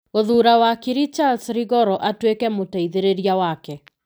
Gũthuura wakiri Charles Rigoro atuĩke mũteithĩrĩria wake.